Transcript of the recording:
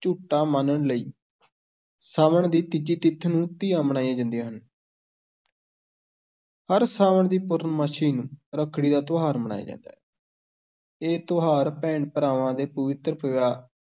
ਝੂਟਾ ਮਾਣਨ ਲਈ ਸਾਵਣ ਦੀ ਤੀਜੀ ਤਿਥ ਨੂੰ ਤੀਆਂ ਮਨਾਈਆਂ ਜਾਂਦੀਆਂ ਹਨ ਹਰ ਸਾਵਣ ਦੀ ਪੂਰਨਮਾਸ਼ੀ ਨੂੰ ਰੱਖੜੀ ਦਾ ਤਿਉਹਾਰ ਮਨਾਇਆ ਜਾਂਦਾ ਹੈ ਇਹ ਤਿਉਹਾਰ ਭੈਣ-ਭਰਾਵਾਂ ਦੇ ਪਵਿੱਤਰ ਪਿਆ